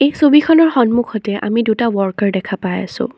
এই ছবিখনৰ সন্মুখতে আমি দুটা ৱৰ্কাৰ দেখা পাই আছোঁ।